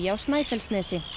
á Snæfellsnesi